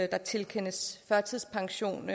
der tilkendes førtidspension